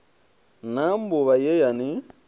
na mbuvha ye ya ni